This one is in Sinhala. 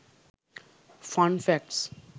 fun facts